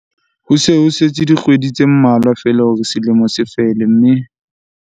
Ho se ho setse dikgwedi tse mmalwa feela hore selemo se fele mme